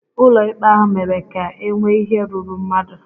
Ụlọ ikpe ahụ mere ka e nwee ike rúrú mmadụ